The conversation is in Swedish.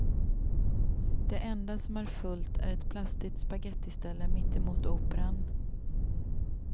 Det enda som är fullt är ett plastigt spagettiställe mittemot operan.